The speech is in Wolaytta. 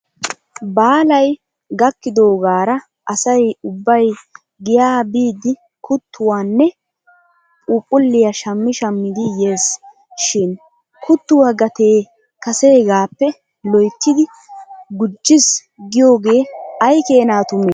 Baalay gakkidoogaara asay ubbay giyaa biidi kuttuwaanne phuuphulliyaa shammi shammidi yes shin kuttuwaa gatee kaseegaappe loyttidi gujjis giyoogee aykeena tumee?